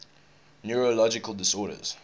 neurological disorders